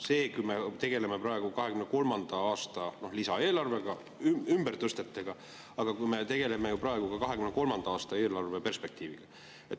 Me tegeleme praegu 2023. aasta lisaeelarvega, ümbertõstetega, aga me tegeleme praegu ka 2023. aasta eelarve perspektiiviga.